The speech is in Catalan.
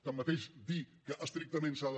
tanmateix dir que estrictament s’ha de